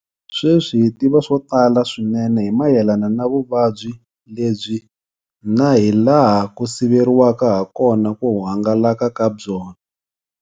Sweswi hi tiva swo tala swinene hi mayelana na vuvabyi lebyi na hilaha ku siveriwaka hakona ku hangalaka ka byona.